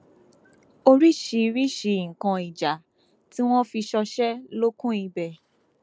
oríṣiríṣiì nǹkan ìjà tí wọn fi ń ṣọṣẹ ló kún ibẹ